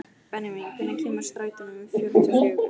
Benjamín, hvenær kemur strætó númer fjörutíu og fjögur?